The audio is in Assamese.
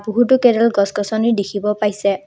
বহুতো কেইডাল গছ গছনি দেখিব পাইছে।